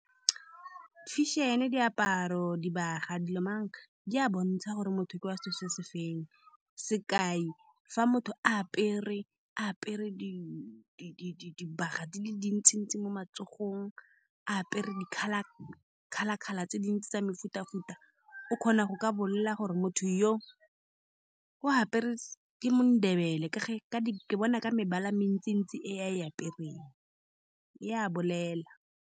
fashion-e, diaparo, dibaga, di lo mang, di a bontsha gore motho ke wa setso sefe. Sekai, fa motho a apere, apere di-di-di-di dibaga di le dintsi-ntsi mo matsogong a apere, di-colour, colour-colour tse dintsi tsa mefuta-futa, o kgona go ka bolela gore motho yoo o apere . Ke mo Ndebele, ke ge ke bona ka mebala e mentsi-ntsi e a e apereng, e a bolela.